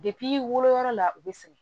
woloyɔrɔ la u bɛ segin